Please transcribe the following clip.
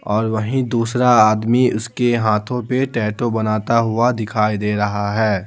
और वहीं दूसरा आदमी उसके हाथों पे टैटो बनाता हुआ दिखाई दे रहा है।